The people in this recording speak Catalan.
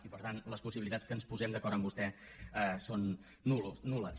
i per tant les possibilitats que ens posem d’acord amb vostè són nul·les